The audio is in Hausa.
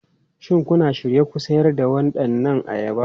Shin kuna shirye ku sayar da waɗannan ayaba?